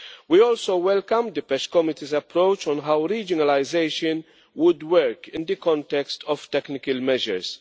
We also welcome the PECH Committee's approach on how regionalisation would work in the context of technical measures.